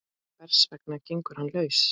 Hvers vegna gengur hann laus?